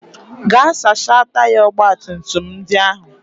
Gaa sachaa taya ọgbatumtum ndị ahụ!